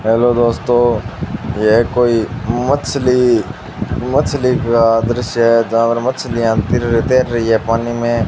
Hello दोस्तों यह कोई मछली-मछली का दृश्य है जहां पर मछलियां तीर तैर रही हैं पानी में।